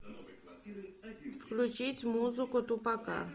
включить музыку тупака